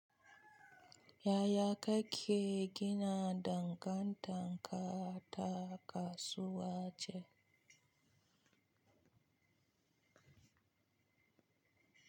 Yaya kake gina dangantaka ta kasuwa ce?